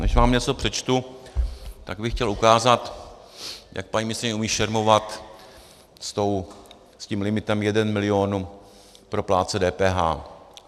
Než vám něco přečtu, tak bych chtěl ukázat, jak paní ministryně umí šermovat s tím limitem 1 milion pro plátce DPH.